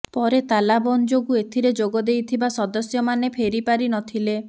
ପରେ ତାଲାବନ୍ଦ ଯୋଗୁଁ ଏଥିରେ ଯୋଗ ଦେଇଥିବା ସଦସ୍ୟମାନେ ଫେରିପାରି ନ ଥିଲେ